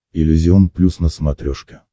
иллюзион плюс на смотрешке